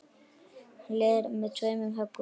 Hann leiðir með tveimur höggum.